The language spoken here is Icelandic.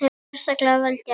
Sérlega vel gert.